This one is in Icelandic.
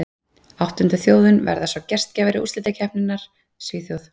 Áttunda þjóðin verða svo gestgjafar úrslitakeppninnar, Svíþjóð.